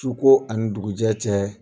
Suko ani dugujɛ cɛ